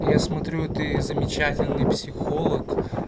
я смотрю ты замечательный психолог